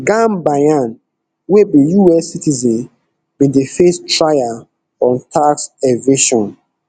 gambaryan wey be us citizen bin dey face trial on tax evasion